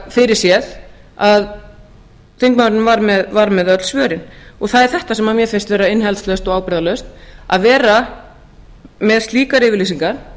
fyrirséð að þingmaðurinn var með öll svörin það er þetta sem mér finnst vera innihaldslaust og ábyrgðarlaust að vera með slíkar yfirlýsingar